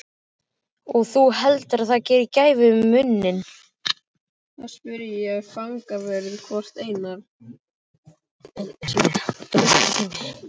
Og þú heldur það geri gæfumuninn?